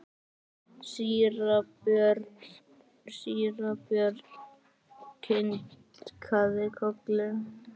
Síra Björn kinkaði kolli.